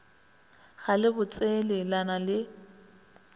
ga le botsele na le